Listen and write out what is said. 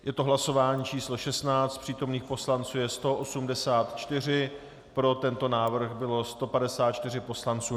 Je to hlasování číslo 16, přítomných poslanců je 184, pro tento návrh bylo 154 poslanců .